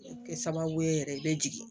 Kɛ sababu ye yɛrɛ i bɛ jigin